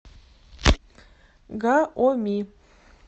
гаоми